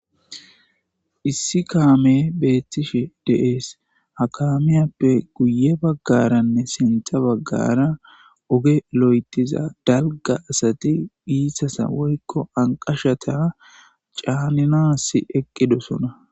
issi kaame beettishe deees hakamiyappe guye baggaranne sentha baggara oge lo7etiza dalga asati iisasa woykko anqashata caaninas eqqidosona